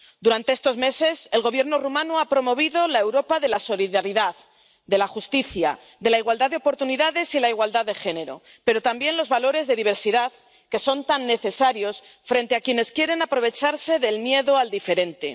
Durante estos meses el Gobierno rumano ha promovido la Europa de la solidaridad, de la justicia, de la igualdad de oportunidades y la igualdad de género, pero también los valores de diversidad, que son tan necesarios frente a quienes quieren aprovecharse del miedo al diferente.